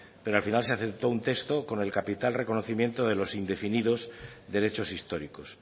pero al final se aceptó un texto con el capital reconocimiento de los indefinidos derechos históricos